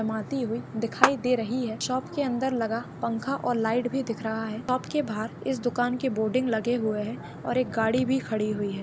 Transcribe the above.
हुई दिखाई दे रही है शॉप के अंदर लगा पंखा और लाइट भी दिख रहा है शॉप के बाहर इस दुकान के बोर्डिंग भी लगे हुए है और एक गाड़ी भी खड़ी हुई है।